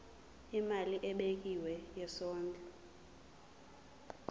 imali ebekiwe yesondlo